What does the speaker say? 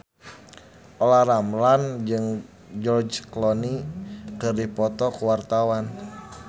Olla Ramlan jeung George Clooney keur dipoto ku wartawan